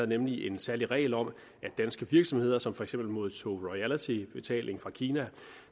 nemlig en særlig regel om at danske virksomheder som for eksempel modtog royaltybetaling fra kina